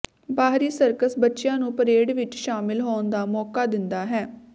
ਬਾਹਰੀ ਸਰਕਸ ਬੱਚਿਆਂ ਨੂੰ ਪਰੇਡ ਵਿਚ ਸ਼ਾਮਲ ਹੋਣ ਦਾ ਮੌਕਾ ਦਿੰਦਾ ਹੈ